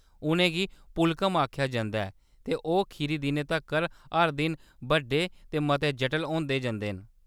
उʼनें गी पुक्कलम आखेआ जंदा ऐ ते ओह्‌‌ खीरी दिनै तक्कर हर दिन बड्डे ते मते जटल होंदे जंदे न।